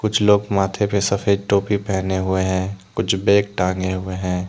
कुछ लोग माथे पे सफेद टोपी पहने हुए है कुछ बेग टांगे हुए है।